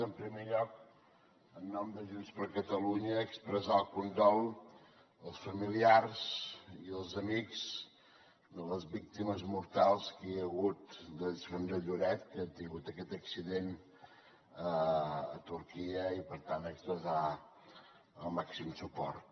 en primer lloc en nom de junts per catalunya expressar el condol als familiars i als amics de les víctimes mortals que hi ha hagut són de lloret que han tingut aquest accident a turquia i per tant expressar el màxim suport